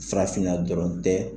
Farafinna dɔrɔn tɛ